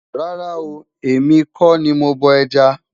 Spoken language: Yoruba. rárá o, èmi kò ní mọ bó ẹja